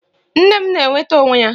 Nne m na-enweta onwe ya